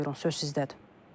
Buyurun, söz sizdədir.